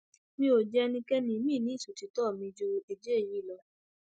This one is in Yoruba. mi ò jẹ ẹnikẹni miín ní ìṣòtítọ miín ju èjé èyí lọ